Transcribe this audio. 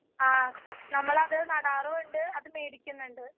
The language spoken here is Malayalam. ആ നമ്മളത് നാടാറും ഉണ്ട്. മേടിക്കാന്നുണ്ട്.